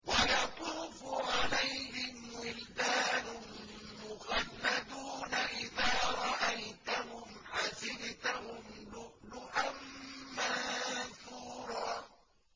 ۞ وَيَطُوفُ عَلَيْهِمْ وِلْدَانٌ مُّخَلَّدُونَ إِذَا رَأَيْتَهُمْ حَسِبْتَهُمْ لُؤْلُؤًا مَّنثُورًا